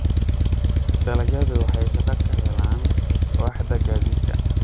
Dalagyadu waxay shaqo ka helaan waaxda gaadiidka.